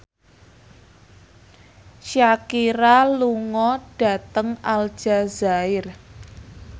Shakira lunga dhateng Aljazair